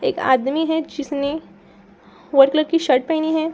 एक आदमी है जिसने वाइट कलर की शर्ट पहनी है।